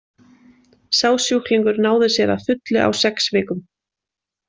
Sá sjúklingur náði sér að fullu á sex vikum.